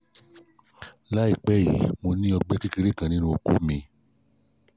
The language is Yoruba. láìpẹ́ yìí mo ní ọgbẹ́ kékeré kan nínú okó mi